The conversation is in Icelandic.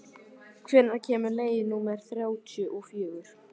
Amalía, hvenær kemur leið númer þrjátíu og fjögur?